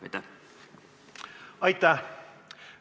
Aitäh!